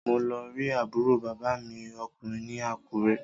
Mo lọ rí àbúrò bàbá mi ọkùnrin ní Àkúrẹ́